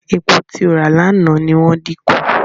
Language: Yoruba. Epo tí ó rà lánàá ni wọ́n dín kù.